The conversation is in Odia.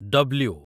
ଡବ୍ଲ୍ୟୁ